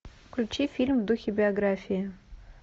включи фильм в духе биографии